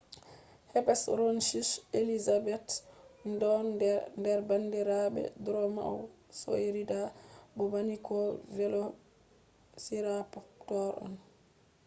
hesperonychus elizabethae don nder bandirabe dromaeosauridae bo bandiko velociraptor on